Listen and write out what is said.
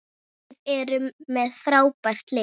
Við erum með frábært lið.